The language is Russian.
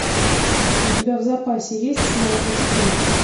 у тебя в запасе есть снайпер три